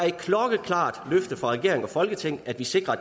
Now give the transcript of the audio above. et klokkeklart løfte fra regeringen og folketinget at vi sikrer at